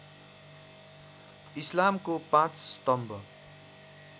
इस्लामको ५ स्तम्भ